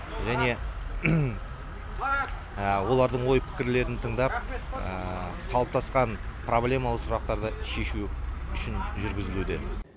және олардың ой пікірлерін тыңдап қалыптасқан проблемалы сұрақтарды шешу үшін жүргізілуде